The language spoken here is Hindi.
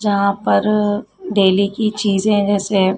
जहां पर डेली की चीज जैसे--